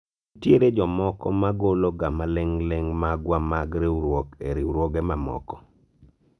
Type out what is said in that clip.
nitiere jomokoma golo ga maling'ling ' magwa mag riwruok ne riwruoge mamoko